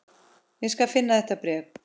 Ég skal finna þetta bréf